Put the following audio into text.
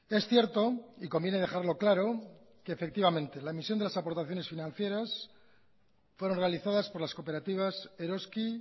es cierto y conviene dejarlo claro que efectivamente la emisión de las aportaciones financieras fueron realizadas por las cooperativas eroski